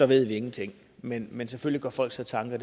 ved vi ingenting men men selvfølgelig gør folk sig tanker